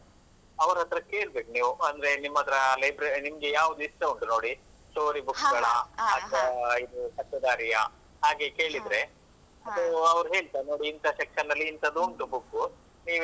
ಅವರತ್ರ ಕೇಳ್ಬೇಕು ನೀವು ಅಂದ್ರೆ ನಿಮ್ಮತ್ರ ನಿಮ್ಗೆ ಯಾವುದು ಇಷ್ಟ ಉಂಟು ನೋಡಿ story books ಗಳಾ ಅಥ್ವಾ ಇದು ಪತ್ತೇದಾರಿಯಾ? ಹಾಗೆ ಕೇಳಿದ್ರೆ ಅದು ಅವರು ಹೇಳ್ತರೆ ನೋಡಿ ಇಂತ section ಅಲ್ಲಿ ಇಂತದು ಉಂಟು book ನೀವು.